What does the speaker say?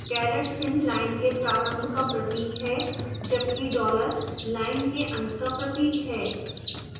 caret चिन्ह line के प्रारंभ का प्रतीक है जबकि dollar line के अंत का प्रतीक है